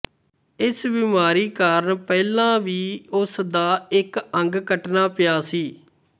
ਇਸ ਬੀਮਾਰੀ ਕਰਨ ਪਹਿਲਾਂ ਉਸ ਵੀ ਉਸਦਾ ਇੱਕ ਅੰਗ ਕੱਟਣਾ ਪਿਆ ਸੀ